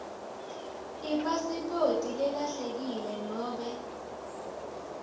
ipasiphoti lelahlekile nobe